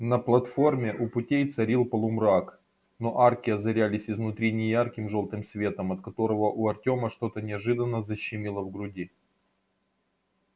на платформе у путей царил полумрак но арки озарялись изнутри неярким жёлтым светом от которого у артёма что-то неожиданно защемило в груди